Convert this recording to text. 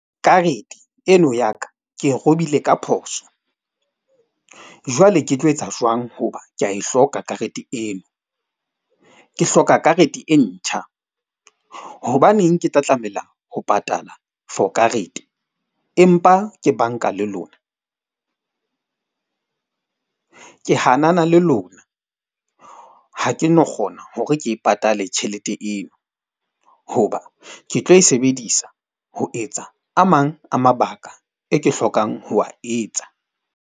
Karete eno ya ka ke e robile ka phoso, jwale ke tlo etsa jwang hoba ke a e hloka karete eo? Ke hloka karete e ntjha. Hobaneng ke tla tlameha ho patala for karete? Empa ke bank-a le lona? Ke hanana le lona ha ke no kgona hore ke e patale tjhelete eo hoba ke tlo e sebedisa ho etsa a mang a mabaka e ke hlokang ho wa etsa.